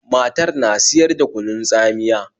Matar na siyar da kunun tsamiya